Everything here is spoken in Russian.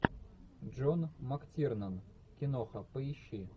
джон мактирнан киноха поищи